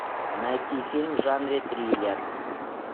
найти фильм в жанре триллер